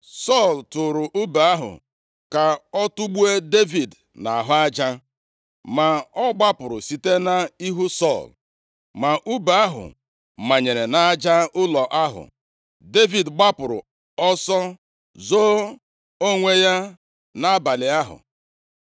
Sọl tụrụ ùbe ahụ ka ọ tugbuo Devid nʼahụ aja, ma ọ gbapụrụ site nʼihu Sọl, ma ùbe ahụ manyere nʼaja ụlọ ahụ. Devid gbapụrụ ọsọ zoo onwe ya nʼabalị ahụ.